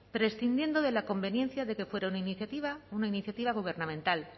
prescindiendo de la conveniencia de que fuera una iniciativa gubernamental